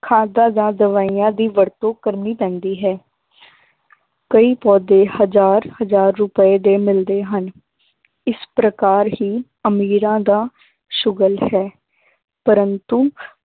ਖਾਦਾਂ ਜਾਂ ਦਵਾਈਆਂ ਦੀ ਵਰਤੋਂ ਕਰਨੀ ਪੈਂਦੀ ਹੈ ਕਈ ਪੌਦੇ ਹਜ਼ਾਰ ਹਜ਼ਾਰ ਰੁਪਏ ਦੇ ਮਿਲਦੇ ਹਨ ਇਸ ਪ੍ਰਕਾਰ ਹੀ ਅਮੀਰਾਂ ਦਾ ਸੁਗਲ ਹੈ ਪਰੰਤੂ